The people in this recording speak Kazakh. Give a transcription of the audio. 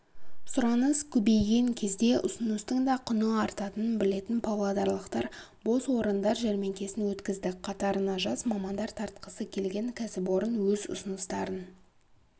сұраныс көбейген кезде ұсыныстың да құны артатынын білетін павлодарлықтар бос орындар жәрмеңкесін өткізді қатарына жас мамандар тартқысы келген кәсіпорын өз ұсыныстарын